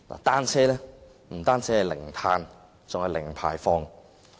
單車不僅是零碳，還是零排放。